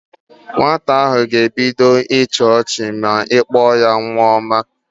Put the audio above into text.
Nwata ahụ ga-ebido ibe ịchị ọchị ma ị kpọ ya nwa ọma